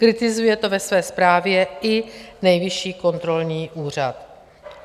Kritizuje to ve své zprávě i Nejvyšší kontrolní úřad.